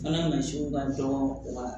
Fana mansinw ka dɔgɔ wa